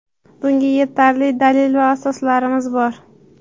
Bunga yetarli dalil va asoslarimiz bor.